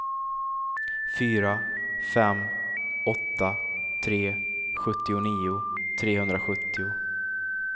fyra fem åtta tre sjuttionio trehundrasjuttio